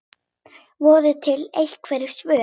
Voru til einhver svör?